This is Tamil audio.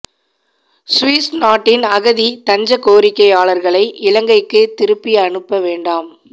சுவிஸ் நாட்டின் அகதி தஞ்ச கோரிக்கையாளர்களை இலங்கைக்கு திருப்பி அனுப்ப வேண்டாம்